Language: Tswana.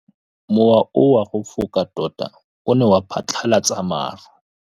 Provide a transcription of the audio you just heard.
Mowa o wa go foka tota o ne wa phatlalatsa maru.